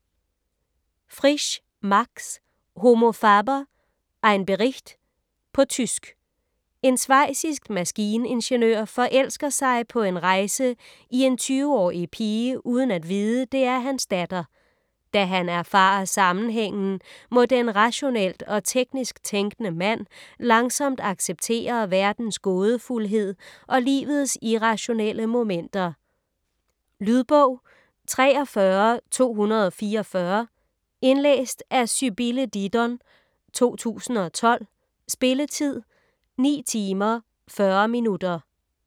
Frisch, Max: Homo Faber: ein Bericht På tysk. En schweizisk maskiningeniør forelsker sig på en rejse i en 20-årig pige uden at vide, det er hans datter. Da han erfarer sammenhængen, må den rationelt og teknisk tænkende mand langsomt acceptere verdens gådefuldhed og livets irrationelle momenter. Lydbog 43244 Indlæst af Sybille Didon, 2012. Spilletid: 9 timer, 40 minutter.